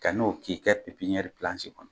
Ka n'o k'i kɛ pepiniyɛri kɔnɔ.